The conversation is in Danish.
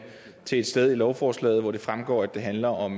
til et sted i lovforslaget hvor det fremgår at det handler om